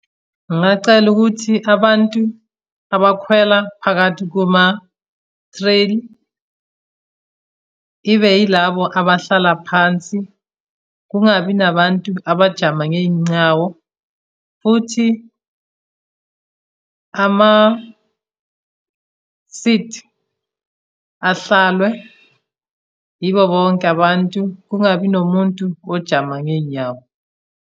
Ngingacela ukuthi abantu abakhwela phakathi kuma-train, ibe yilabo abahlala phansi, kungabi nabantu abajama ngey'ncawo, futhi ama-seat ahlalwe yibo bonke abantu, kungabi nomuntu ojama ngey'nyawo.